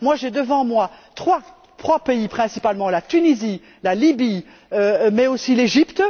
J'ai devant moi trois pays, principalement la Tunisie, la Lybie, mais aussi l'Égypte.